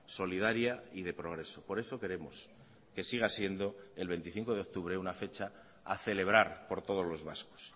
solidaria y de progreso por eso queremos que siga siendo el veinticinco de octubre una fecha a celebrar por todos los vascos